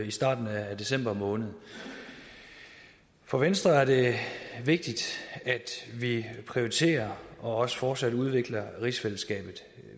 i starten af december måned for venstre er det vigtigt at vi prioriterer og også fortsat udvikler rigsfællesskabet